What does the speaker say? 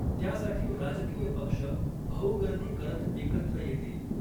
त्यासाठी राजकीय पक्ष भाऊगर्दी करत एकत्र येतील.